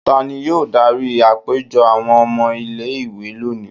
ta ni yóò dari apejọ awọn ọmọ ile-iwe loni?